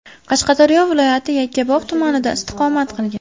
Qashqadaryo viloyati Yakkabog‘ tumanida istiqomat qilgan.